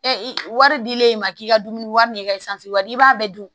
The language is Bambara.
wari dilen i ma k'i ka dumuni wari n'i ka wari i b'a bɛɛ dun